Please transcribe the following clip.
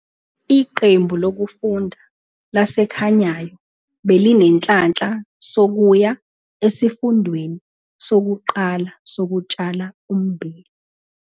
Iqembu lokufunda laseKhanyayo belinenhlanhla sokuya Esifundweni Sokuqala Sokutshala Ummbila.